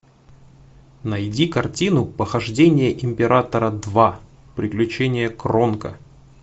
найди картину похождения императора два приключения кронка